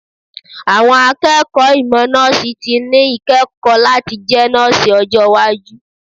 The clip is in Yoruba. Àwọn akẹ́kọ̀ọ́ ìmọ̀ Nọ́ọ̀sì ti ní íkẹ́kọ̀ọ́ láti jẹ nọ́ọ̀sì ọjọ́ iwájú.